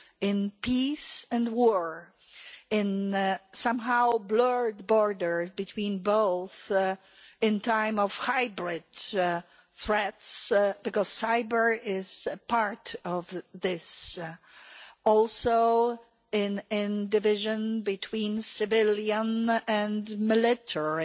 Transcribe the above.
in peace and war and the somewhat blurred border between both at a time of hybrid threats, because cyber' is part of this also in the division between civilians and the military